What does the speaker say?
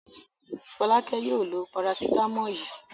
Fọ́lákẹ́ yóò lo parasítámọ̀ yìí.